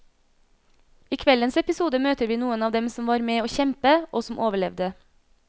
I kveldens episode møter vi noen av dem som var med å kjempe, og som overlevde.